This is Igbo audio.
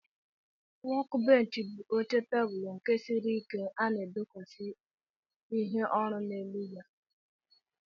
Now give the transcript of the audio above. Wọk bench bu oche teblu nke siri ike nke ana edokwasi ihe orụ na elu ya arụ.